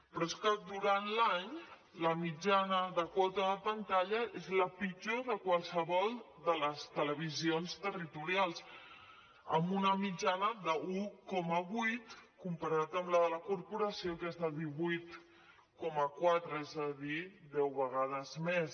però és que durant l’any la mitjana de quota de pantalla és la pitjor de qualsevol de les televisions territorials amb una mitjana d’un coma vuit comparat amb la de la corporació que és de divuit coma quatre és a dir deu vegades més